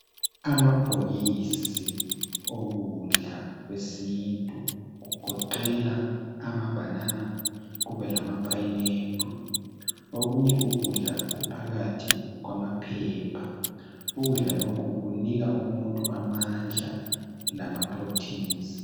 Amabhokisi okudla kwesintu kugoqela amabhanana kube lama pineapple, okunye ukudla kuphakathi kwamaphepha. Ukudla lokhu kunika umuntu amandla lamaproteins.